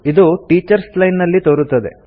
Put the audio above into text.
ಇದು teachers line ನಲ್ಲಿ ತೋರುತ್ತದೆ